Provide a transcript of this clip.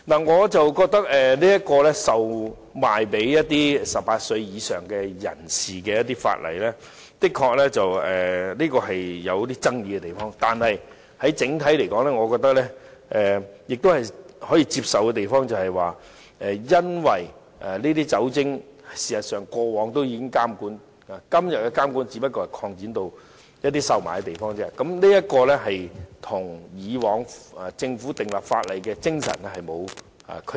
我覺得規管售賣酒精類飲品予18歲以上人士的法例，的確有爭議的地方，但整體來說，我覺得可以接受的是，過往事實上也有對酒精類飲品的監管，今天只是把監管擴展至售賣的地方，這跟以往政府訂立法例的精神沒有區別。